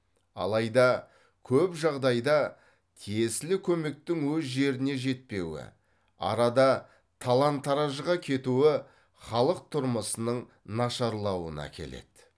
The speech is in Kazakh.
алайда көп жағдайда тиесілі көмектің өз жеріне жетпеуі арада талан таражға кетуі халық тұрмысының нашарлауына әкеледі